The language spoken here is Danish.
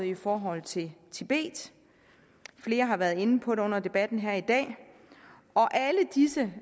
i forhold til tibet flere har været inde på det under debatten her i dag og alle disse